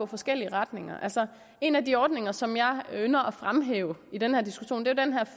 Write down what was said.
forskellige retninger en af de ordninger som jeg ynder at fremhæve i den her diskussion er